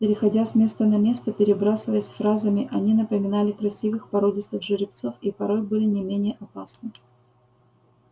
переходя с места на место перебрасываясь фразами они напоминали красивых породистых жеребцов и порой были не менее опасны